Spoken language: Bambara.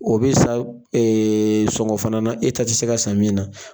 O be san sɔngɔ fana na e ta te se ka san min na.